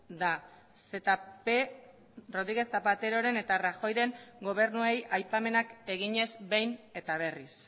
da zp rodríguez zapateroren eta rajoyren gobernuei aipamenak eginez behin eta berriz